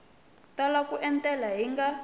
tala ku etlela hi nga